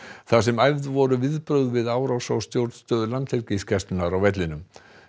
þar sem æfð voru viðbrögð við árás á stjórnstöð Landhelgisgæslunnar á vellinum